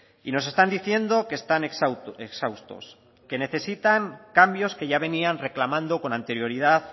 y nos están diciendo que están exhaustos que necesitan cambios que ya venían reclamando con anterioridad